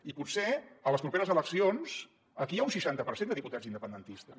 i potser a les properes eleccions aquí hi ha un seixanta per cent de diputats independentistes